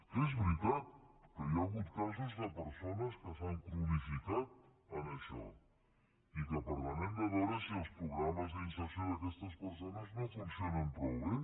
que és veritat que hi ha hagut casos de persones que s’han cronificat en això i que per tant hem de veure si els programes d’inserció d’aquestes persones no funcionen prou bé